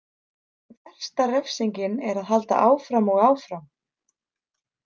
Versta refsingin er að halda áfram og áfram.